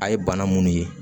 A ye bana munnu ye